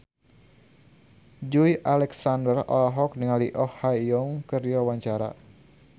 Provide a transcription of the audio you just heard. Joey Alexander olohok ningali Oh Ha Young keur diwawancara